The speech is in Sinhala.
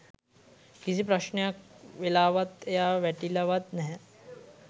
කිසි ප්‍රශ්නයක් වෙලාවත් එයා වැටිලාවත් නැහැ